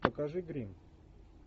покажи гримм